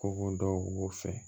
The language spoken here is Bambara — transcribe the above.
Ko ko dɔw b'o fɛ